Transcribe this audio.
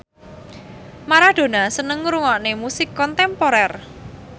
Maradona seneng ngrungokne musik kontemporer